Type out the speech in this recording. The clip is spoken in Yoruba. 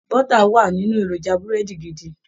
Bọ́tà wà nínú èròjà Búrẹ́dì gidi